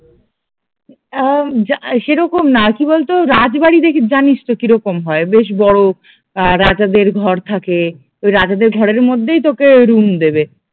আহ উম সেরকম না কি বলতো রাজবাড়ি দে জানিস তো কিরকম হয় বেশ বড়ো, আহ রাজাদের ঘর থাকে, ওই রাজাদের ঘরের মধ্যেই তোকে রুম দেবে